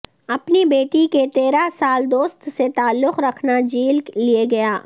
اپنی بیٹی کے تیرہ سال دوست سے تعلق رکھنا جیل لے گیا